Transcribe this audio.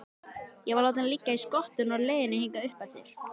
Ég var látinn liggja í skottinu á leiðinni hingað uppeftir.